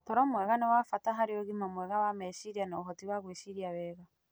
Toro mwega nĩ wa bata harĩ ũgima mwega wa meciria na ũhoti wa gwĩciria wega.